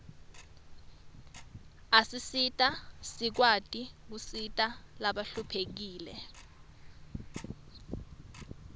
asisita sikwati kusita labahluphekile